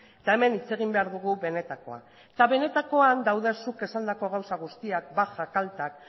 eta hemen hitz egin behar dugu benetakoa eta benatakoan daude zuk esandako gauza guztiak bajak altak